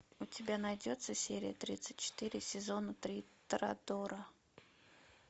у тебя найдется серия тридцать четыре сезона три торадора